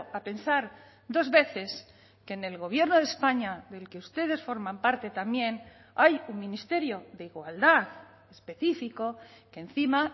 a pensar dos veces que en el gobierno de españa del que ustedes forman parte también hay un ministerio de igualdad específico que encima